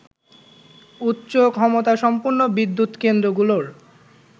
উচ্চ ক্ষমতাসম্পন্ন বিদ্যুৎ কেন্দ্রগুলোর